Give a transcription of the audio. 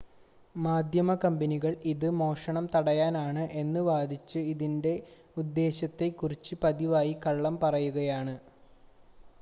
"മാധ്യമ കമ്പനികൾ, ഇത് "മോഷണം തടയാനാണ്" എന്ന് വാദിച്ച് ഇതിന്റെ ഉദ്ദേശ്യത്തെ കുറിച്ച് പതിവായി കള്ളം പറയുകയാണ്.